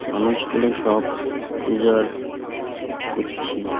মানুষগুলো সব পূজার করছে .